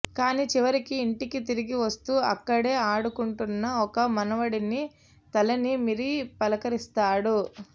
కానీ చివరికి ఇంటికి తిరిగివస్తూ అక్కడే ఆడుకుంటున్న ఒక మనవడిని తలనిమిరి పలకరిస్తాడు